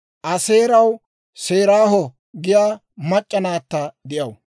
Aaseeraw Seraaho giyaa mac'c'a naatta de'aw.